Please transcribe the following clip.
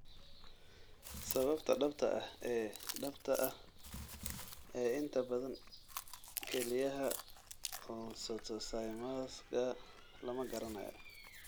Sababta dhabta ah ee dhabta ah ee inta badan kelyaha oncocytomasga lama garanayo.